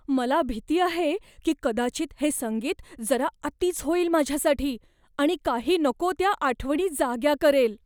मला भीती आहे की कदाचित हे संगीत जरा अतीच होईल माझ्यासाठी आणि काही नको त्या आठवणी जाग्या करेल.